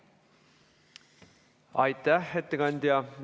Aitäh, ettekandja!